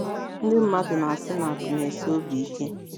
NDỊ mmadụ na - asị na “ akụ̀ na - esi obi ike. ”